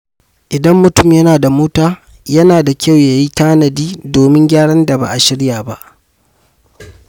Idan mutum yana da mota, yana da kyau ya yi tanadi domin gyaran da ba a shirya ba.